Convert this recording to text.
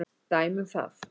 Dæmi um það